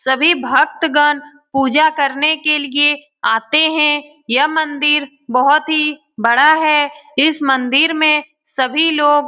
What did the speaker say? सभी भक्तगन पूजा करने के लिए आते है। यह मंदिर बोहोत ही बड़ा है। इस मंदिर में सभी लोग --